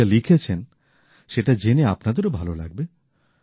উনি যা লিখেছেন সেটা জেনে আপনাদের ও ভাল লাগবে